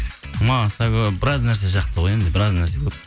маса көп біраз нәрсе шақты ғой енді біраз нәрсе көп